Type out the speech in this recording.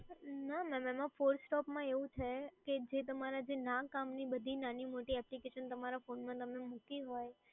ના ના ના FORCE stop માં એવું છે કે જે તમારા ના કામ ની નાની મોટી application તમારા phone માં તમે મૂકી હોય.